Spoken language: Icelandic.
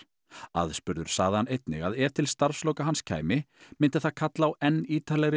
aðspurður sagði hann einnig að ef til starfsloka hans kæmi myndi það kalla á enn ítarlegri